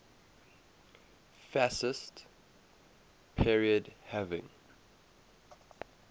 fascist period having